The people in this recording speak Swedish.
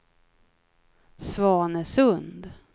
Svanesund